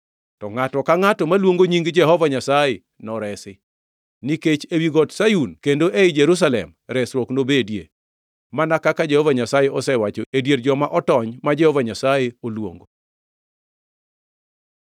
To ngʼato ka ngʼato maluongo nying Jehova Nyasaye noresi; nikech ewi got Sayun kendo ei Jerusalem resruok nobedie, mana kaka Jehova Nyasaye osewacho, e dier joma otony ma Jehova Nyasaye oluongo.”